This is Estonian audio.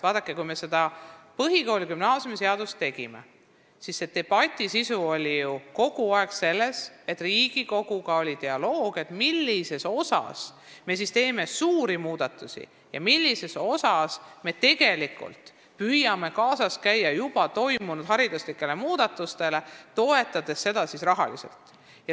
Vaadake, kui me seda põhikooli- ja gümnaasiumiseadust tegime, siis seisnes debati sisu ja dialoog Riigikoguga selles, millises osas me teeme suuri muudatusi ja millises osas me püüame kaasas käia juba toimunud hariduslike muudatustega, toetades rahaliselt.